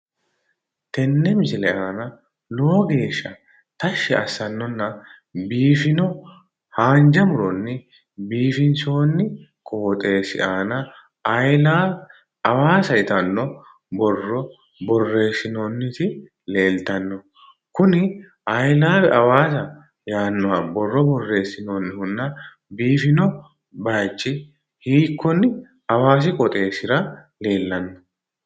Tenne misile aana lowo geesha tashi assannona biifanno haanijja muronni biifinisooni qoxesi aanaa I love Hawaassa yitanno borro boreesinoonitit leelittano Kuni I LOVE HAWAASSA yaannoha borro boreesinoonihunna biifino bayichi hiikkone hawaasi quchumi qooxessira leellanno?